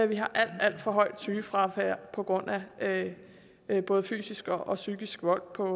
vi har alt alt for højt sygefravær på grund af af både fysisk og psykisk vold på